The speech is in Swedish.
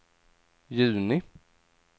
juni